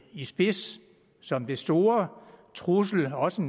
i spidsen som den store trussel også